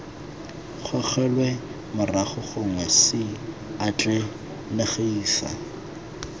gogelwe morago gongwe c atlenegisa